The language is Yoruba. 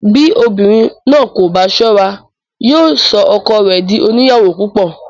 Bí obìnrin náà kò bá sọ́ra, yóò sọ ọkọ rẹ dí oníyàwó púpò.